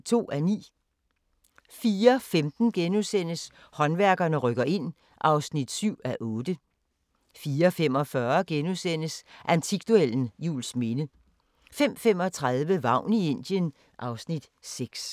04:15: Håndværkerne rykker ind (7:8)* 04:45: Antikduellen – Juelsminde * 05:35: Vagn i Indien (Afs. 6)